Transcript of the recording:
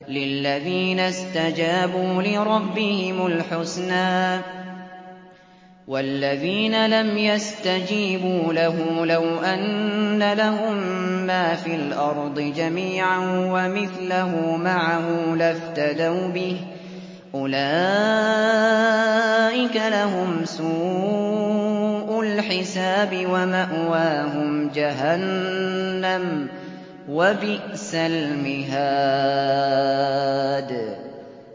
لِلَّذِينَ اسْتَجَابُوا لِرَبِّهِمُ الْحُسْنَىٰ ۚ وَالَّذِينَ لَمْ يَسْتَجِيبُوا لَهُ لَوْ أَنَّ لَهُم مَّا فِي الْأَرْضِ جَمِيعًا وَمِثْلَهُ مَعَهُ لَافْتَدَوْا بِهِ ۚ أُولَٰئِكَ لَهُمْ سُوءُ الْحِسَابِ وَمَأْوَاهُمْ جَهَنَّمُ ۖ وَبِئْسَ الْمِهَادُ